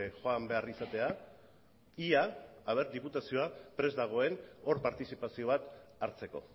joan behar izatea ia diputazioa prest dagoen hor partizipazio bat hartzeko